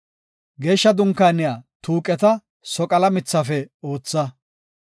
Geeshsha Dunkaaniya tuuqeta soqala mithafe ootha.